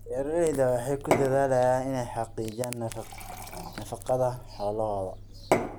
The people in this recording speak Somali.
Beeraleydu waxay ku dadaalaan inay xaqiijiyaan nafaqada xoolahooda.